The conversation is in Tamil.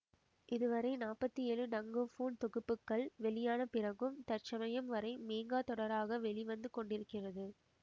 இது வரை நாப்பத்தி ஏழு டங்கோபோன் தொகுப்புக்கள் வெளியான பிறகும் தற்சமயம் வரை மேங்கா தொடராக வெளி வந்து கொண்டிருக்கிறது